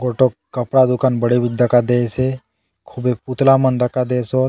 गोटक कपड़ा दुकान बड़े बितिन दखा दयेसे खुबे पुतला मन दखा दयेसे सोत --